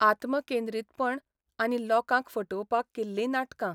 आत्मकेंद्रितपण आनी लोकांक फटोवपाक केल्लीं नाटकां.